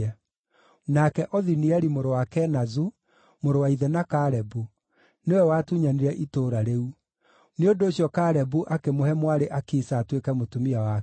Nake Othinieli mũrũ wa Kenazu, mũrũ wa ithe na Kalebu, nĩwe watunyanire itũũra rĩu; nĩ ũndũ ũcio Kalebu akĩmũhe mwarĩ Akisa atuĩke mũtumia wake.